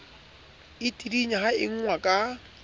e tidinya ha engwa ka